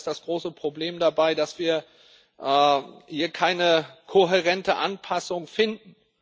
Aber leider ist das große Problem dabei, dass wir hier keine kohärente Anpassung finden.